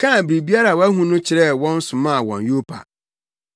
kaa biribiara a wahu no kyerɛɛ wɔn somaa wɔn Yopa.